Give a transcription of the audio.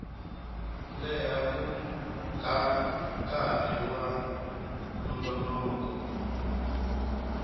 leha ka nkarhi wa nongonoko